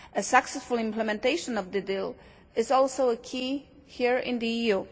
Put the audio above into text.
Successful implementation of the deal is also a key here in the EU.